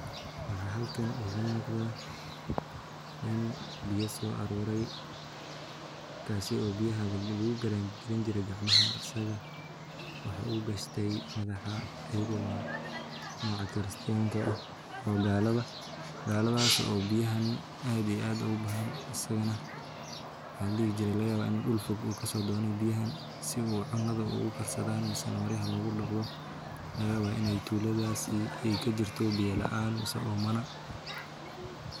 Waxaan halkan iiga muuqada nin biya soo aroore taas oo lagararani jire madaxa ku qaade laga yaaba in meel deer uu kasoo doone laga yaaba in tuladasi aay kajirto oomana.